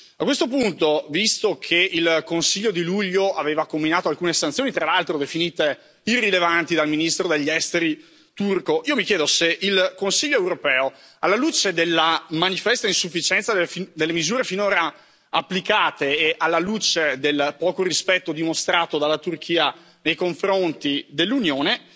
A questo punto, visto che il Consiglio di luglio aveva comminato alcune sanzioni, tra l'altro definite irrilevanti dal ministro degli Esteri turco, io mi chiedo se il Consiglio europeo, alla luce della manifesta insufficienza delle misure finora applicate e alla luce del poco rispetto dimostrato dalla Turchia nei confronti dell'Unione,